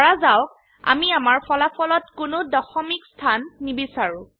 ধৰা যাওক আমি আমাৰ ফলাফলত কোনো দশমিক স্থান নিবিচাৰো